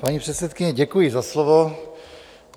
Paní předsedkyně, děkuji za slovo.